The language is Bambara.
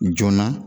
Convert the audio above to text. Joona